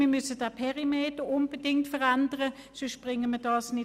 Wir müssen den Perimeter unbedingt verändern, sonst schaffen wir dies nicht.